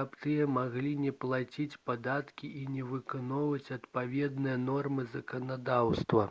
каб тыя маглі не плаціць падаткі і не выконваць адпаведныя нормы заканадаўства